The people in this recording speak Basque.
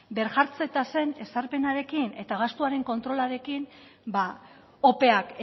birjartze tasen ezarpenarekin eta gastuaren kontrolarekin opeak